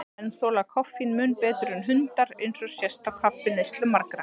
Menn þola koffín mun betur en hundar, eins og sést á kaffineyslu margra.